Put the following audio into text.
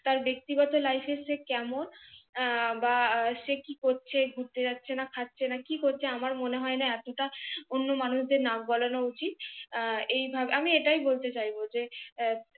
তার ব্যাক্তি গত life এ সে কেমন আহ বা সে কি করছে ঘুরেত যাচ্ছে না খাচ্ছে না কি করছে আমার মনে হয়না এত টা অন্য মানুষদের নাকগলানো উচিত আহ এইভাবে আমি এটাই বলতে চাইবো যে আহ